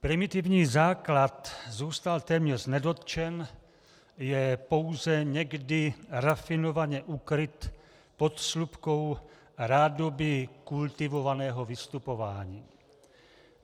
Primitivní základ zůstal téměř nedotčen, je pouze někdy rafinovaně ukryt pod slupkou rádoby kultivovaného vystupování.